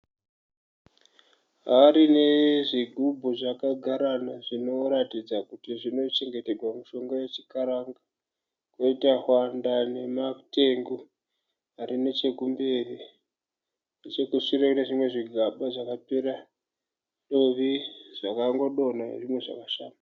Hari nezvigubhu zvakagarana zvinoratidza kuti zvinochengetegwa mishonga yechikaranga. Poita tswanda nematengu arinechekumberi. Nechekushure kune zvimwe zvigaba zvakapera dovi zvakangodonha nezvimwe zvakashama.